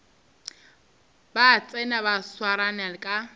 ba tsena ba swarane ka